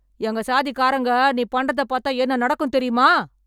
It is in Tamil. எங்க சாதிக்காரங்க நீ பண்றத பாத்தா என்ன நடக்கும் தெரியுமா